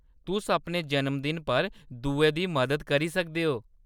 तुस अपने जन्मदिन पर दुएं दी मदद करी सकदे ओ।